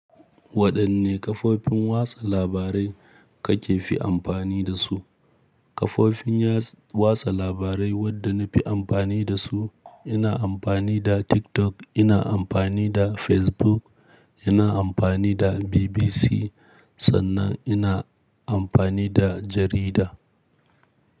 Waɗanne kafofin watsa labarai kake fi amfani da su? Kafofin ya- watsa labarai waɗanda na fi amfani da su, ina amfani da TikTok, ina amfani da Facebook, ina amfani da BBC sannan ina amfani da jarida.